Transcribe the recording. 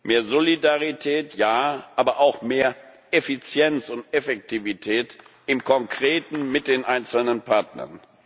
Mehr Solidarität, ja, aber auch mehr Effizienz und Effektivität im Konkreten mit den einzelnen Partnern.